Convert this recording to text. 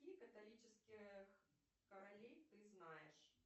каких католических королей ты знаешь